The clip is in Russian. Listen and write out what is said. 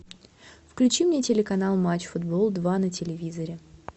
включи мне телеканал матч футбол два на телевизоре